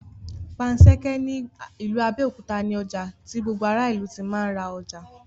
Panṣẹ́kẹ́ ní ìlú Abẹ́òkúta ní ọjà tí gbogbo ará ìlú tí ń ra ọjà